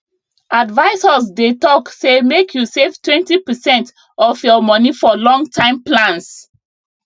advisors dey talk say make you savetwentypercent of your money for longtime plans